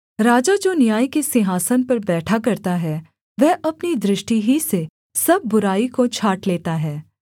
राजा जो न्याय के सिंहासन पर बैठा करता है वह अपनी दृष्टि ही से सब बुराई को छाँट लेता है